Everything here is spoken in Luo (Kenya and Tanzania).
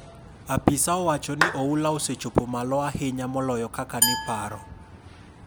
Apisa owacho ni oula no osechopo malo ahinyamoloyokaka ni paro